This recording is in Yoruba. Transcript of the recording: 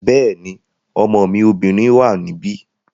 Bẹ́ẹ̀ni, ọmọ mi obìnrin wà níbí